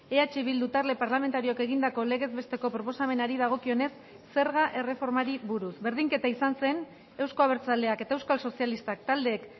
eh bildu talde parlamentarioak egindako legez besteko proposamenari dagokionez zerga erreformari buruz berdinketa izan zen euzko abertzaleak eta euskal sozialistak taldeek